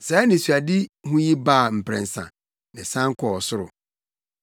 Saa anisoadehu yi baa mprɛnsa, na ɛsan kɔɔ ɔsoro.